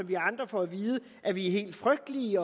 vi andre får at vide at vi er helt frygtelige